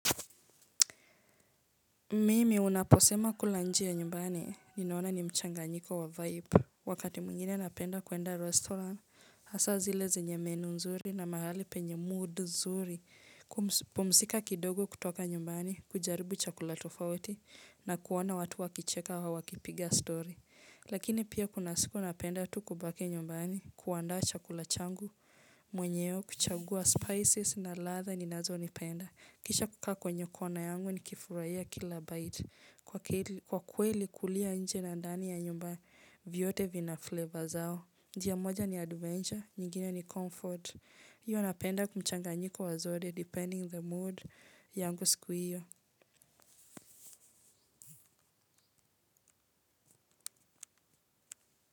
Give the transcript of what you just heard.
Mimi unaposema kula nje ya nyumbani, ninaona ni mchanganyiko wa vibe. Wakati mwingine napenda kuenda restaurant, hasa zile zenye menu nzuri na mahali penye mood nzuri. Pumzika kidogo kutoka nyumbani, kujaribu chakula tofauti na kuona watu wakicheka au wakipiga story. Lakini pia kuna siku napenda tu kubaki nyumbani, kuandaa chakula changu, mwenyewe kuchagua spices na ladha ninazonipenda. Kisha kukaa kwenye kona yangu nikifurahia kila bite. Kwa kweli kulia nje na ndani ya nyumba vyote vina flavor zao. Njia moja ni adventure, nyingine ni comfort. Iyo napenda ku mchanganyiko wa zote depending the mood yangu siku hiyo.